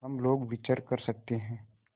हम लोग विचर सकते हैं